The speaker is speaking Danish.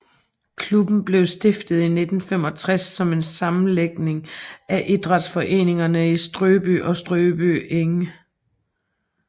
Klubben blev stiftet i 1965 som en sammenlægning af idrætsforeningerne i Strøby og Strøby Egede